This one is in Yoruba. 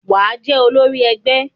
Wà á jẹ́ olórí ẹgbẹ́!